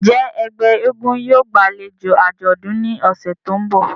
Njẹ ẹgbẹ èègún yóò gbalejo ajọdun ni ọsẹ to nbọ?